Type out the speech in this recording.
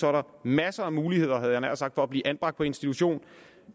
er der masser af muligheder havde jeg nær sagt for at blive anbragt på institution